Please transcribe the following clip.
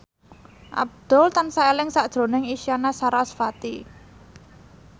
Abdul tansah eling sakjroning Isyana Sarasvati